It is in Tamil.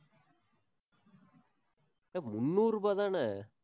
முந்நூறு ரூபாய்தானே?